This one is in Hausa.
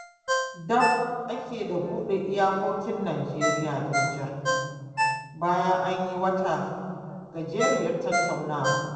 Daf ake da buɗe iyakokin Nijeriya da Nijar, bayan an yi wata gajeriyar tattaunawa.